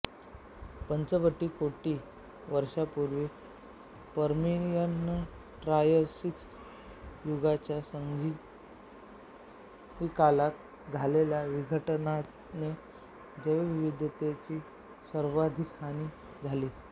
पंचवीस कोटी वर्षापूर्वी पर्मियनट्रायसिक युगाच्या संधिकालात झालेल्या विघटनाने जैवविविधतेची सर्वाधिक हानी झाली